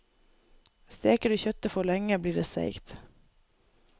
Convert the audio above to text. Steker du kjøttet for lenge, blir det seigt.